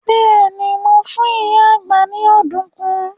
Bẹ́ẹ̀ni, mo fún ìyá àgbá ni ọ̀dùnkún.